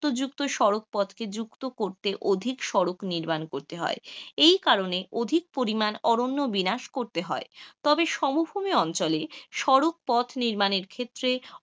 যুক্ত সড়ুক পথকে যুক্ত করতে, অধিক সড়ক নির্মাণ করতে হয়, এই কারণেই অধিক পরিমাণে অরণ্য বিনাশ করতে হয়, তবে সমভূমি অঞ্চলে সড়ক পথ নির্মাণের ক্ষেত্রে,